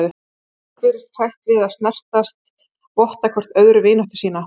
Fólk virðist hrætt við að snertast, votta hvert öðru vináttu sína.